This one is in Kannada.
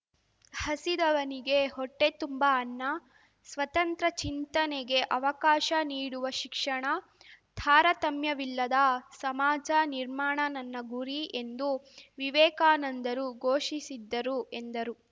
ಹಸಿದವನಿಗೆ ಹೊಟ್ಟೆತುಂಬ ಅನ್ನ ಸ್ವತಂತ್ರ ಚಿಂತನೆಗೆ ಅವಕಾಶ ನೀಡುವ ಶಿಕ್ಷಣ ತಾರತಮ್ಯವಿಲ್ಲದ ಸಮಾಜ ನಿರ್ಮಾಣ ನನ್ನ ಗುರಿ ಎಂದು ವಿವೇಕಾನಂದರು ಘೋಷಿಸಿದ್ದರು ಎಂದರು